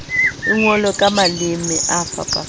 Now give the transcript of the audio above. e ngolwe ka maleme a